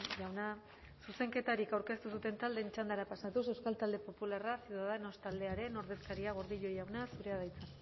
jauna zuzenketarik aurkeztu ez duten taldeen txandara pasatuz euskal talde popularra ciudadanos taldearen ordezkaria gordillo jauna zurea da hitza